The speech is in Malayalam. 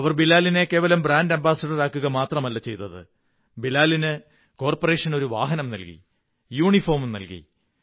അവർ ബിലാലിനെ കേവലം ബ്രാന്ഡ്യ അംബാസഡറാക്കുക മാത്രമല്ല ചെയ്തത് ബിലാലിന് കോര്പ്പ റേഷൻ ഒരു വാഹനം നല്കി യൂണിഫോമും നല്കി